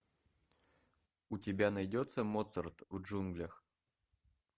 у тебя найдется моцарт в джунглях